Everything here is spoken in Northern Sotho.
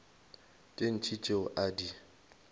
tše ntši tšeo a di